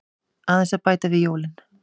Aðeins að bæta við jólin.